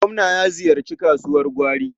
Gwamna ya ziyarci kasuwar gwari.